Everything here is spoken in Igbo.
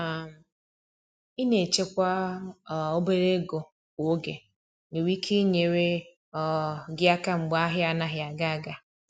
um Ina echekwa um obere ego kwa oge nwere ike inyere um gi aka mgbe ahia anaghị aga aga.